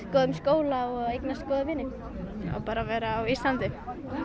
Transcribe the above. góðum skóla og eignast góða vini og bara vera á Íslandi